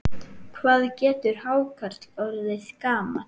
Hvað getur hákarl orðið gamall?